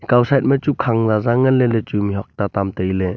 ekaw side machu khang zaza nganley lechu mihak ta tamtailey.